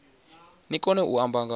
ni kone u amba nga